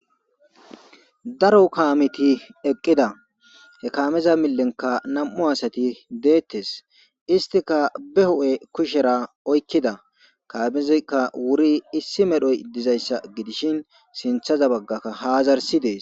daro kaameti eqqida he kaameza milenka nam7u asati deettes istika be ho7e kushera oykkida kaamizikka wuri issi medhoy dizayssa gidishin sinthaza baggakka haazarsi dees